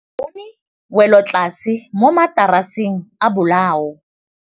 Re bone wêlôtlasê mo mataraseng a bolaô.